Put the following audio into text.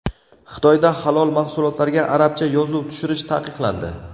Xitoyda halol mahsulotlarga arabcha yozuv tushirish taqiqlandi.